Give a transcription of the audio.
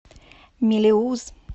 мелеуз